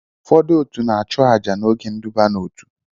Ụfọdụ otu na-achụ àjà n'oge nduba n'otu